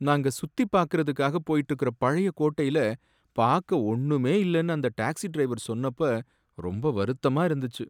நாங்க சுத்திபாக்கறதுக்காக போயிட்ருக்குற பழைய கோட்டையில பாக்க ஒண்ணுமே இல்லன்னு அந்த டாக்ஸி டிரைவர் சொன்னப்ப ரொம்ப வருத்தமா இருந்துச்சு.